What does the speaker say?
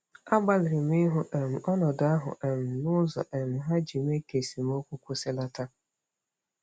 Agbalịrị m ịhụ um ọnọdụ ahụ um n'ụzọ um ha iji mee ka esemokwu kwụsịlata.